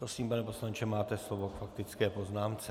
Prosím, pane poslanče, máte slovo k faktické poznámce.